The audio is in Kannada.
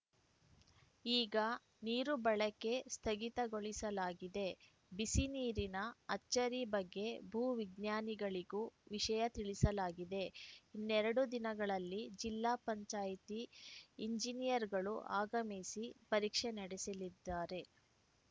ಈಗ ನೀರು ಬಳಕೆ ಸ್ಥಗಿತಗೊಳಿಸಲಾಗಿದೆ ಬಿಸಿನೀರಿನ ಅಚ್ಚರಿ ಬಗ್ಗೆ ಭೂ ವಿಜ್ಞಾನಿಗಳಿಗೂ ವಿಷಯ ತಿಳಿಸಲಾಗಿದೆ ಇನ್ನೆರಡು ದಿನಗಳಲ್ಲಿ ಜಿಲ್ಲಾ ಪಂಚಾಯತಿ ಎಂಜಿನಿಯರುಗಳು ಆಗಮಿಸಿ ಪರೀಕ್ಷೆ ನಡೆಸಲಿದ್ದಾರೆ